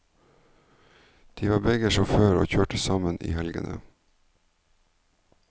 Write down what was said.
De var begge bussjåfører og kjørte sammen i helgene.